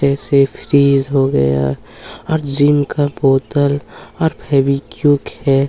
ए सेफटिस हो गया हैं और जिंक का बोतल और फेविकुविक हैं।